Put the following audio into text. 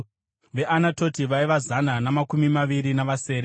veAnatoti vaiva zana namakumi maviri navasere;